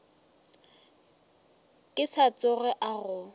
ka se tsoge a go